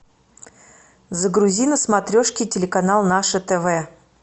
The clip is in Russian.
загрузи на смотрешке телеканал наше тв